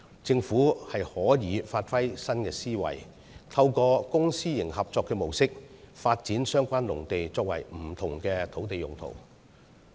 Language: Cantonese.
政府可以發揮新思維，透過公私營合作模式，發展相關農地作不同的土地用途。